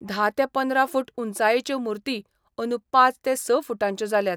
धा ते पंदरा फुट उंचायेच्यो मूर्ती अंदू पांच ते स फूटांच्यो जाल्यात.